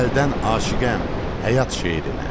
Əzəldən aşiqəm həyat şeirinə.